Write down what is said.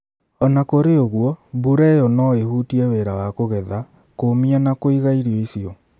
O na kũrĩ ũguo, mbura ĩyo no ĩhutie wĩra wa kũgetha, kũũmia na kũiga irio icio.